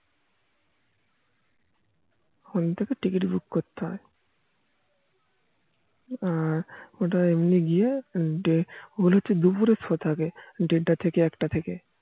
phone থেকে ticket book করতে হয় আর এমনি গিয়ে ওগুলো তো দুপুরে শো থাকে দেড়টা থেকে একটা থেকে